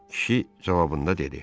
Kişi cavabında dedi.